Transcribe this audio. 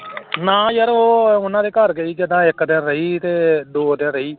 ਨਾ ਯਾਰ ਉਹ ਉਹਨਾਂ ਦੇ ਘਰ ਗਈ ਤਾਂ ਇੱਕ ਦਿਨ ਰਹੀ ਤੇ ਦੋ ਦਿਨ ਰਹੀ